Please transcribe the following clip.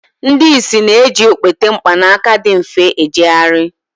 ndị ìsì na-eji okpete mkpanaka dị mfe ijegharị